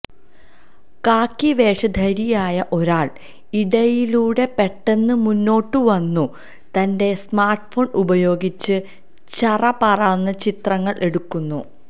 കാക്കി വേഷ ധാരിയായ ഒരാൾ ഇടയിലൂടെ പെട്ടന്ന് മുന്നോട്ടു വന്നു തന്റെ സ്മാർട്ഫോൺ ഉപയോഗിച്ച് ചറപറാന്നു ചിത്രങ്ങൾ എടുക്കുന്നു